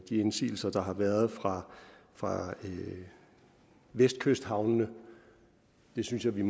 de indsigelser der har været fra fra vestkysthavnene jeg synes at vi i